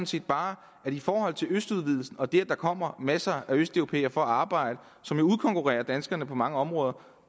set bare i forhold til godkendelse af østudvidelsen og det at der kommer masser af østeuropæere for at arbejde som vil udkonkurrere danskerne på mange områder